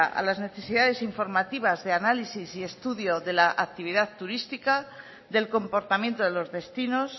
a las necesidades informativas de análisis y estudio de la actividad turística del comportamiento de los destinos